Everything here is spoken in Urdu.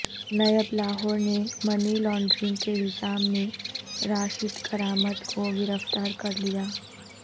نیب لاہور نے منی لانڈرنگ کے الزام میں راشد کرامت کو گرفتار کرلیا